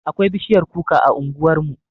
Akwai bishiyar kuka a unguwarmu